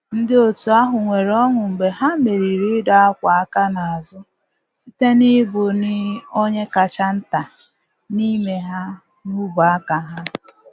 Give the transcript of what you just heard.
Ndị otu ahụ nwere ọṅụ mgbe ha merịrị ịdọ akwa aka n’azụ, site na ibu ni onye kacha nta n’ime ha n’ubu aka ha.